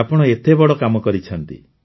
ଆପଣ ଏତେ ବଡ଼ କାମ କରିଛନ୍ତି